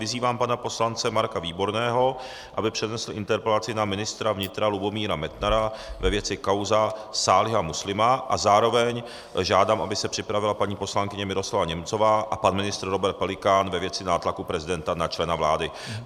Vyzývám pana poslance Marka Výborného, aby přednesl interpelaci na ministra vnitra Lubomíra Metnara ve věci Kauza Sáliha Muslima, a zároveň žádám, aby se připravila paní poslankyně Miroslava Němcová a pan ministr Robert Pelikán ve věci nátlaku prezidenta na člena vlády.